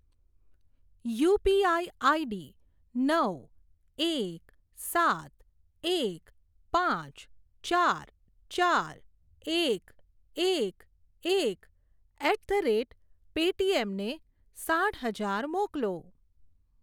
UPI ID નવ એક સાત એક પાંચ ચાર ચાર એક એક એક એટ ધ રેટ પેટીએમ ને સાઠ હજાર મોકલો.